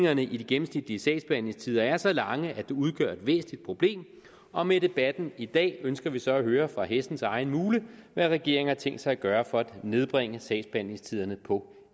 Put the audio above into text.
at de gennemsnitlige sagsbehandlingstider er så lange at det udgør et væsentligt problem og med debatten i dag ønsker vi så at høre fra hestens egen mule hvad regeringen har tænkt sig at gøre for at nedbringe sagsbehandlingstiderne på